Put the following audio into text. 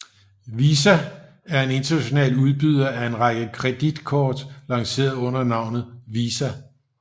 VISA er en international udbyder af en række kreditkort lanceret under navnet Visa